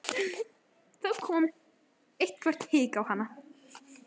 Þá kom eitthvert hik á hana.